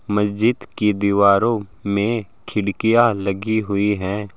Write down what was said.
मस्जिद की दीवारों में खिड़कियां लगी हुई हैं।